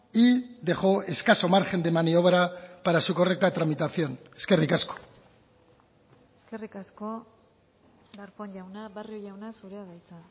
y dejó escaso margen de maniobra para su correcta tramitación eskerrik asko eskerrik asko darpón jauna barrio jauna zurea da hitza